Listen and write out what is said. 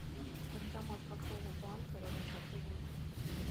банкомат какого банка рядом с отелем